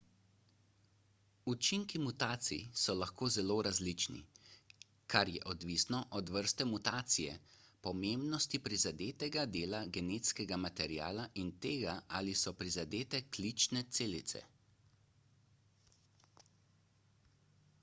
učinki mutacij so lahko zelo različni kar je odvisno od vrste mutacije pomembnosti prizadetega dela genetskega materiala in tega ali so prizadete klične celice